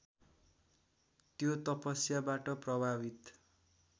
त्यो तपस्याबाट प्रभावित